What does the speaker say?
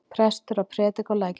Prestur að prédika á Lækjartorgi!